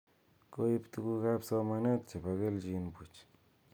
Koib tuguk ab somanet chebo kelchin buch